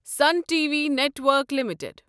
sun T V network limited